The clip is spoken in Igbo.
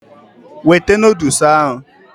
Wete noodles ahụ!